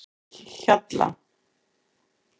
Hjalla